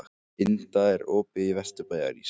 Inda, er opið í Vesturbæjarís?